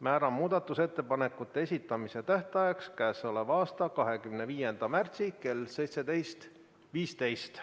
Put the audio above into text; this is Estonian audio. Määran muudatusettepanekute esitamise tähtajaks k.a 25. märtsi kell 17.15.